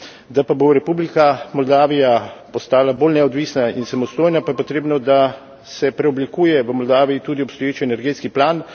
Da pa bo Republika Moldavija postala bolj neodvisna in samostojna, pa je potrebno, da se preoblikuje v Moldaviji tudi obstoječi energetski plan.